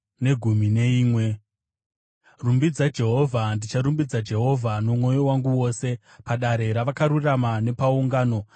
Rumbidzai Jehovha. Ndicharumbidza Jehovha nomwoyo wangu wose, padare ravakarurama nepagungano.